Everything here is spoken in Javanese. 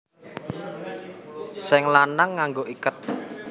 Sing lanang nganggo iket